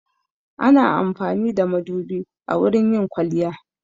Ana amfani da madubi wurin yin kwaliya.